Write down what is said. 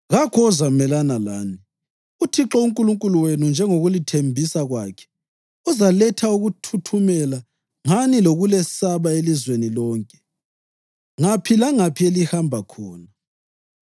Kakho ozamelana lani. UThixo uNkulunkulu wenu, njengokulithembisa kwakhe, uzaletha ukuthuthumela ngani lokulesaba elizweni lonke, ngaphi langaphi elihamba khona.